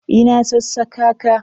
Ina sassaka ka.